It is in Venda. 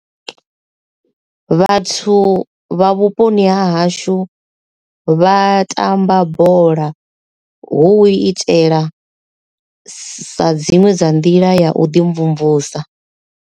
Vhathu vha vhuponi ha hashu vha tamba bola hu u itela sa dziṅwe dza nḓila ya u ḓi mvumvusa.